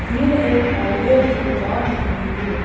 यह एक हार्डवेयर की दुकान दिख रही है।